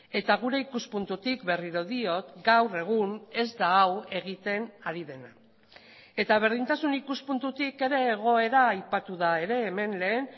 eta gure ikuspuntutik berriro diot gaur egun ez da hau egiten ari dena eta berdintasun ikuspuntutik ere egoera aipatu da ere hemen lehen